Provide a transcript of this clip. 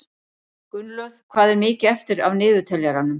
Gunnlöð, hvað er mikið eftir af niðurteljaranum?